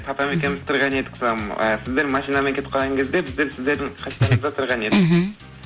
папам екеуміз тұрған едік сіздер машинамен кетіп қалған кезде біздер сіздердің қастарыңызда тұрған едік мхм